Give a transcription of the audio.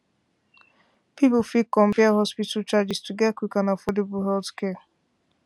people fit compare hospital charges to get quick and affordable healthcare